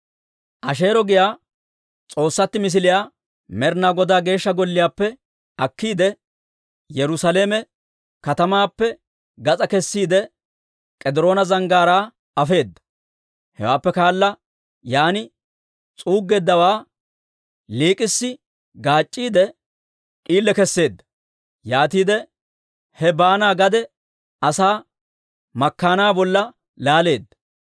Asheero giyaa s'oossatti misiliyaa Med'ina Godaa Geeshsha Golliyaappe akkiide, Yerusaalame katamaappe gas'aa kessiide, K'ediroona Zanggaaraa afeedda. Hewaappe kaala yaan s'uuggeeddawaa liik'issi gaac'c'iide, d'iile keseedda. Yaatiide he baana gade asaa makkaannaa bolla laaleedda.